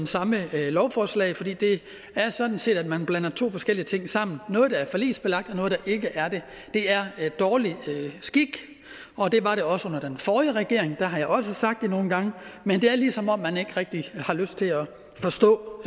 samme lovforslag for det er sådan set at blande to forskellige ting sammen noget der er forligsbelagt og noget der ikke er det det er dårlig skik og det var det også under den forrige regering der har jeg også sagt det nogle gange men det er ligesom om man ikke rigtig har lyst til at forstå